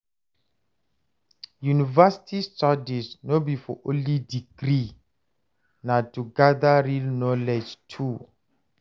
University studies no be for only degree, na to gather real knowledge too.